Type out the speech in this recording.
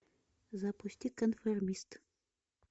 запусти конформист